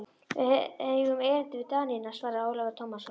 Við eigum erindi við Danina, svaraði Ólafur Tómasson.